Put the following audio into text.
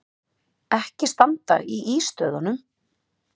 Ekki standa í ístöðunum!